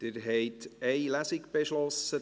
Sie haben eine Lesung beschlossen.